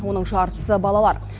оның жартысы балалар